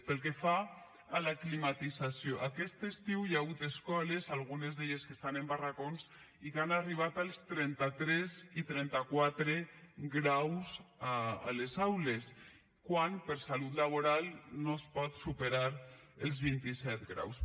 pel que fa a la climatització aquest estiu hi ha hagut escoles algunes d’elles que estan en barracons i que han arribat als trenta tres i trenta quatre graus a les aules quan per salut laboral no es pot superar els vint i set graus